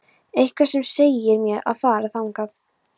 Eitthvað sem segir mér að fara þangað.